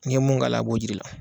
N'i ye mun k'a la a b'o jir'i la.